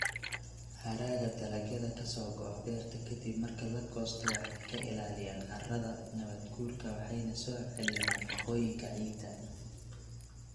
Hadhaaga dalagyada ka soo go'a beerta ka dib marka la goosto waxay ka ilaalinayaan carrada carrada nabaadguurka waxayna soo celiyaan nafaqooyinka ciidda.